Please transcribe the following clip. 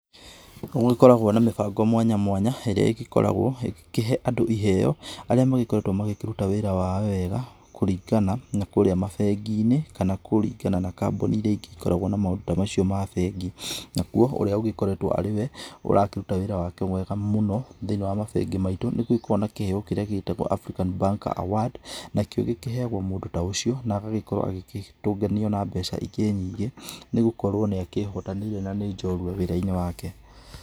Nĩgũgĩkoragwo na mĩbango mwanya mwanya, ĩrĩa ĩgĩkoragwo ĩgĩkĩhe andũ iheo arĩa magĩkoretwo magĩkĩruta wĩra wao wega kũringana na kũrĩa mabengi-inĩ kana kũringana na kambuni iria ingĩ ikoragwo na maũndũ ta macio ma bengi, nakuo ũrĩa ũgĩkoretwo arĩ we ũrakĩruta wĩra wake wega mũno thĩ-inĩ wa mabengi maitũ, nĩgũgĩkoragwo na kĩheo kĩrĩa gĩgĩtagwo African banker award, nakĩo gĩkĩheagwo mũndũ ta ũcio, na agagĩkorwo agĩtũnganio na mbeca ingĩ nyingĩ, nĩgũkorwo nĩ akĩĩhotanĩire na nĩ njorua wĩra-inĩ wake.